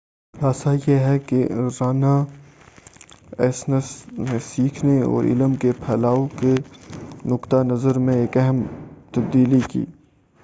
خلاصہ یہ ہے کہ رناایسنس نے سیکھنے اور علم کے پھیلاؤ کے نقطہ نظر میں ایک اہم تبدیلی کی